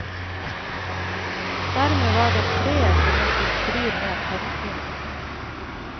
Dermed var det treet som måtte stri med tannpinen.